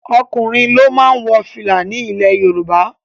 Ọkùnrin ló máa ń wo fìlà ni ilẹ̀ Yorùbá